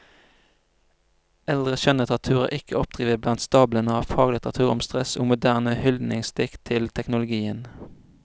Eldre skjønnlitteratur er ikke å oppdrive blant stablene av faglitteratur om stress og moderne hyldningsdikt til teknologien.